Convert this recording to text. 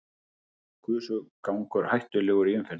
Gusugangur hættulegur í umferðinni